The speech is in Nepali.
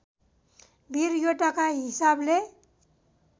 वीर योद्धाका हिसाबले